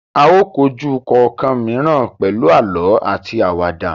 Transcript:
A o kọjú kọọkan mìíràn pẹlú àlọ àti Àwàdà.